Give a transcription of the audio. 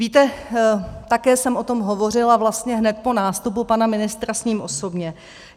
Víte, také jsem o tom hovořila vlastně hned po nástupu pana ministra s ním osobně.